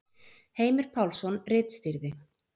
Heimir Pálsson ritstýrði.